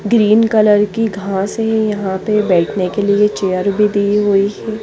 Green colour की घास है यहा पे बेटने के लिए चेयर भी दी हुई है।